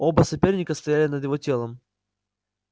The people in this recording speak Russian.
оба соперника стояли над его телом